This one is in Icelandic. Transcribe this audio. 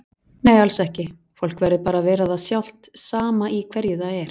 Nei alls ekki, fólk verður bara að vera það sjálft sama í hverju það er.